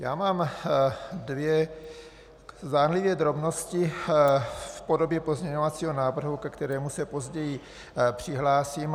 Já mám dvě zdánlivé drobnosti v podobě pozměňovacího návrhu, ke kterému se později přihlásím.